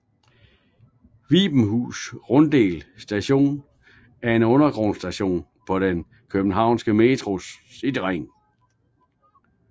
Vibenshus Runddel Station er en undergrundsstation på den københavnske Metros cityring